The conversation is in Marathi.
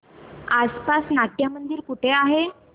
आसपास नाट्यमंदिर कुठे आहे